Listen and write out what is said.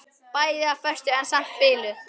Bæði á föstu en samt biluð.